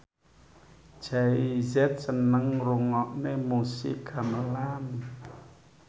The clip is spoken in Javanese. Jay Z seneng ngrungokne musik gamelan